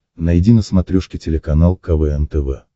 найди на смотрешке телеканал квн тв